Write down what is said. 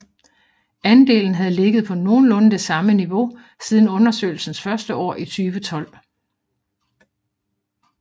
Andelen havde ligget på nogenlunde det samme niveau siden undersøgelsens første år i 2012